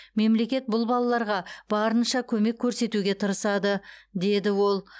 мемлекет бұл балаларға барынша көмек көрсетуге тырысады деді ол